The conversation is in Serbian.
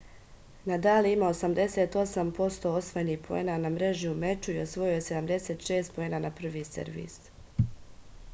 nadal je imao 88% osvojenih poena na mreži u meču i osvojio je 76 poena na prvi servis